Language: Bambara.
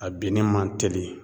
A binni man teli